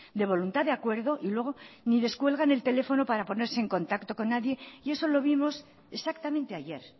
de voluntad de acuerdo y luego ni descuelgan el teléfono para ponerse en contacto con nadie y eso lo vimos exactamente ayer